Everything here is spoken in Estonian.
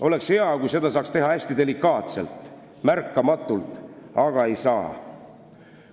Oleks hea, kui seda saaks teha hästi delikaatselt ja märkamatult, aga ei saa.